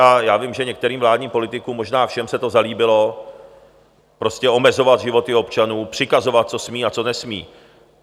A já vím, že některým vládním politikům, možná všem, se to zalíbilo, prostě omezovat životy občanů, přikazovat, co smí a co nesmí.